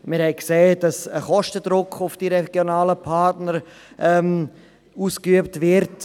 Wir haben gesehen, dass ein Kostendruck auf die regionalen Partner ausgeübt wird.